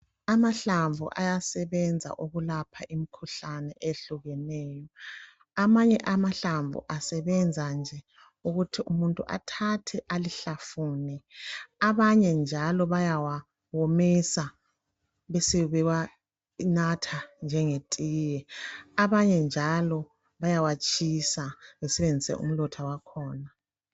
Amahlamvu ayasebenza ukulapha imkhuhlane ehlukeneyo , amanye amahlamvu asebenza nje ukuthi umuntu athathe alihlafune , abanye njalo bayawawomisa besebewanatha njengetiye , abanye bayawatshisa besebenzise umlotha wakhona